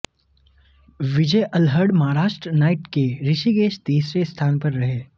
विजय Alhad Maharashtra knight के ऋषिकेश तीसरे स्थान पर रहे